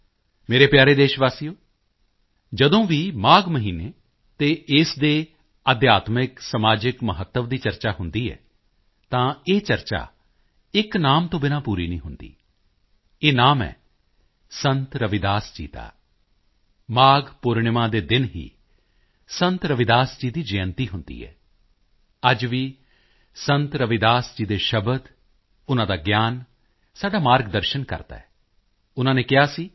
ਮੇਰੇ ਪਿਆਰੇ ਦੇਸ਼ਵਾਸੀਓ ਜਦੋਂ ਵੀ ਮਾਘ ਮਹੀਨੇ ਅਤੇ ਇਸ ਦੇ ਅਧਿਆਤਮਿਕ ਸਮਾਜਿਕ ਮਹੱਤਵ ਦੀ ਚਰਚਾ ਹੁੰਦੀ ਹੈ ਤਾਂ ਇਹ ਚਰਚਾ ਇੱਕ ਨਾਮ ਤੋਂ ਬਿਨਾਂ ਪੂਰੀ ਨਹੀਂ ਹੁੰਦੀ ਇਹ ਨਾਮ ਹੈ ਸੰਤ ਰਵਿਦਾਸ ਜੀ ਦਾ ਮਾਘ ਪੂਰਣਿਮਾ ਦੇ ਦਿਨ ਹੀ ਸੰਤ ਰਵਿਦਾਸ ਜੀ ਦੀ ਜਯੰਤੀ ਹੁੰਦੀ ਹੈ ਅੱਜ ਵੀ ਸੰਤ ਰਵਿਦਾਸ ਜੀ ਦੇ ਸ਼ਬਦ ਉਨ੍ਹਾਂ ਦਾ ਗਿਆਨ ਸਾਡਾ ਮਾਰਗਦਰਸ਼ਨ ਕਰਦਾ ਹੈ ਉਨ੍ਹਾਂ ਨੇ ਕਿਹਾ ਸੀ ਕਿ